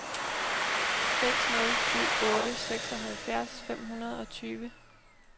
seks nul syv otte seksoghalvfjerds fem hundrede og tyve